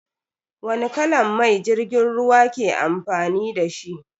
Wani kalan mai jirgin ruwa ke amfani dashi?